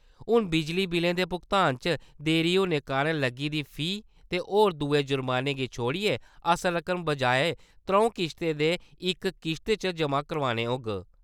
हुन बिजली बिलें दे भुगतान च देरी होने कारण लग्गी दी फीस ते होर दूए जुर्माने गी छोड़ियै असल रकम बजाए त्र`ऊं किश्तें दे इक्क किश्त च जमा करोआनी होग।